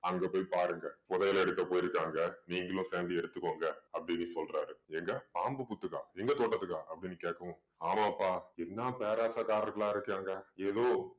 அங்க போய் பாருங்க புதையல் எடுக்க போயிருக்காங்க நீங்களும் சேர்ந்து எடுத்துக்கோங்க அப்படின்னு சொல்றாரு எங்க பாம்பு புத்துக்கா எங்க தோட்டத்துக்கா அப்படின்னு கேட்கவும் ஆமாப்பா என்ன பேராசைக்காரங்களா இருக்காங்க ஏதோ